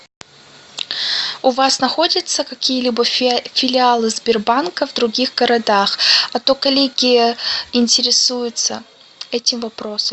у вас находятся какие либо филиалы сбербанка в других городах а то коллеги интересуются этим вопросом